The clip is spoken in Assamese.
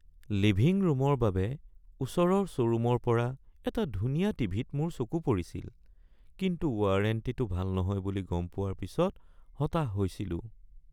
লিভিং ৰূমৰ বাবে ওচৰৰ শ্ব'ৰুমৰ পৰা এটা ধুনীয়া টিভি-ত মোৰ চকু পৰিছিল কিন্তু ৱাৰেণ্টিটো ভাল নহয় বুলি গম পোৱাৰ পিছত হতাশ হৈছিলো।